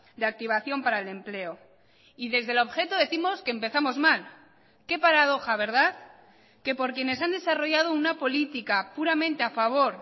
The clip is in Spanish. de activación para el empleo y desde el objeto décimos que empezamos mal qué paradoja verdad que por quienes han desarrollado una política puramente a favor